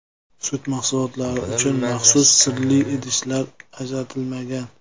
Sut mahsulotlari uchun maxsus sirli idishlar ajratilmagan.